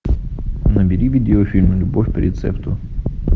набери видео фильм любовь по рецепту